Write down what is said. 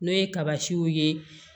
N'o ye kaba ciw ye